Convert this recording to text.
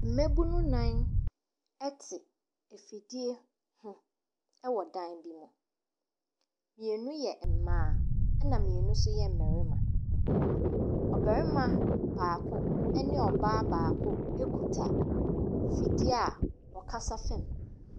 Mmaabunu nnan te afidie ho wɔ dan bi mu, mmienu yɛ mmaa na mmienu nso yɛ mmarima. Ɔbarima baako ne ɔbaa baako kita afidie a wɔkasa fa mu.